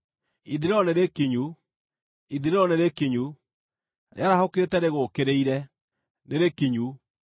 Ithirĩro nĩrĩkinyu! Ithirĩro nĩrĩkinyu! Rĩarahũkĩte rĩgũũkĩrĩire. Nĩrĩkinyu!